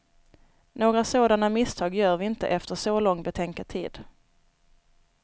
Några sådana misstag gör vi inte efter så lång betänketid.